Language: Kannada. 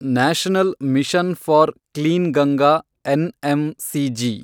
national mission for clean Ganga, NMCG